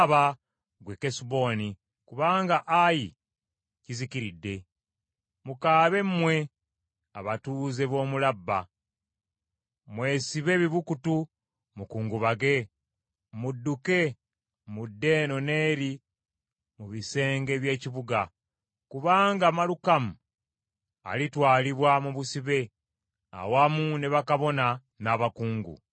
“Kaaba, ggwe Kesuboni, kubanga Ayi kizikiridde! Mukaabe mmwe abatuuze b’omu Labba! Mwesibe ebibukutu mukungubage. Mudduke mudde eno n’eri mu bisenge by’ekibuga, kubanga Malukamu alitwalibwa mu busibe, awamu ne bakabona n’abakungu.